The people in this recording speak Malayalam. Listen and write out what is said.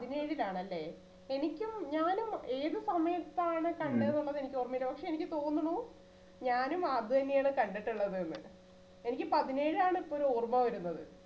പതിനേഴിൽ ആണ് അല്ലേ? എനിക്കും ഞാനും ഏത് സമയത്താണ് കണ്ടതെന്ന് എനിക്ക് ഓർമ്മയില്ല പക്ഷേ എനിക്ക് തോന്നണു ഞാനും അത് തന്നെയാണ് കണ്ടിട്ടുള്ളത് എന്ന് എനിക്ക് പതിനേഴാണ് ഇപ്പോഴും ഓർമ്മ വരുന്നത്.